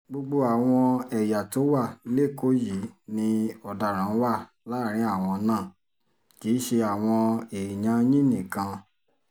gbogbo àwọn ẹ̀yà tó wà lẹ́kọ̀ọ́ yìí ni ọ̀daràn wà láàrin àwọn náà kì í ṣe àwọn èèyàn yín nìkan